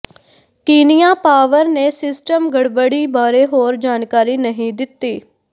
ਕੀਨੀਆ power ਨੇ system ਗੜਬੜੀ ਬਾਰੇ ਹੋਰ ਜਾਣਕਾਰੀ ਨਹੀਂ ਦਿੱਤੀ